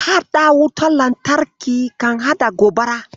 Mahaɗa wutar lantarki kan haɗa gobara.